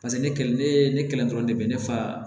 Paseke ne kelen ne ye ne kɛlen dɔrɔn de ne fa